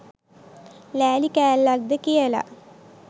ලෑලි කෑල්ලක් ද කියලා.